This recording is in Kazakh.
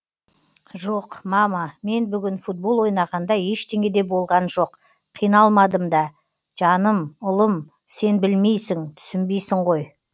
жоқ мама мен бүгін футбол ойнағанда ештеңе де болған жоқ қиналмадым да жаным ұлым сен білмейсің түсінбейсің ғой